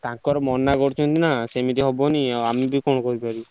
ତାଙ୍କର ମନା କରୁଛନ୍ତି ନାଁ ସେମିତି ହବନି ଆଉ ଆମେ ବି କଣ କରିପାରିବୁ?